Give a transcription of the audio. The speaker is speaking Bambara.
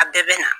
A bɛɛ bɛ na